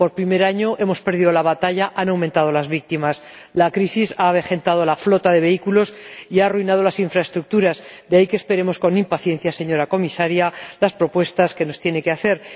Este año hemos perdido la batalla, ya que han aumentado las víctimas. La crisis ha avejentado la flota de vehículos y ha arruinado las infraestructuras, de ahí que esperemos con impaciencia, señora Comisaria, las propuestas que nos tiene que hacer.